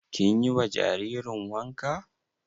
Kin yi wa jaririn wanka?